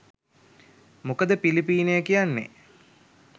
මොකද පිලිපීනය කියන්නේ